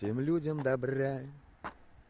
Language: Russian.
всем людям добра